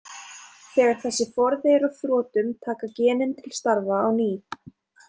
Þegar þessi forði er á þrotum taka genin til starfa á ný.